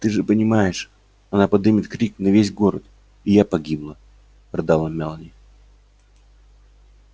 ты же понимаешь она подымет крик на весь город и я погибла рыдала мелани